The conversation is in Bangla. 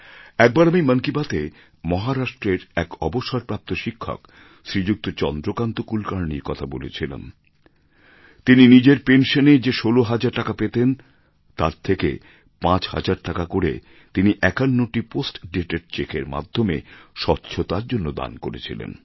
একবার আমি মন কি বাত এ মহারাষ্ট্রের এক অবসরপ্রাপ্ত শিক্ষক শ্রীযুক্ত চন্দ্রকান্ত কুলকার্ণির কথা বলেছিলাম যিনি নিজের পেনশনে যে ষোল হাজার টাকা পেতেন তার থেকে পাঁচ হাজার টাকা করে তিনি ৫১টি পোস্ট ডেটেড চেকের মাধ্যমে স্বচ্ছতার জন্য দান করেছিলেন